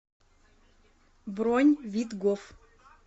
бронь видгоф